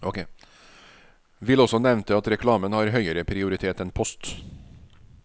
Vil også nevnte at reklamen har høyere prioritet enn post.